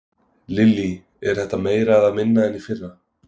Lillý: Er þetta meira eða minna en í fyrra?